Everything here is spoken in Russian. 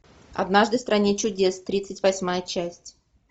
однажды в стране чудес тридцать восьмая часть